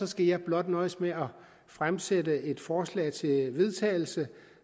skal jeg blot nøjes med at fremsætte et forslag til vedtagelse